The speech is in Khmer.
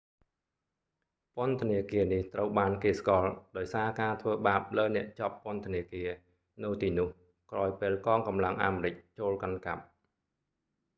ពន្ធនាគារនេះ ត្រូវគេស្គាល់ដោយសារការធ្វើបាបលើអ្នកជាប់ពន្ធនាគារ នៅទីនោះ ក្រោយពេលកងកម្លាំងអាមេរិកចូលកាន់កាប់